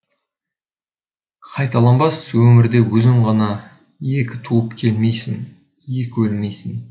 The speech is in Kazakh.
қайталанбас өмірде өзің ғана екі туып келмейсің екі өлмейсің